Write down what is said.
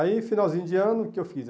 Aí, finalzinho de ano, o que eu fiz?